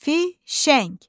Fişəng.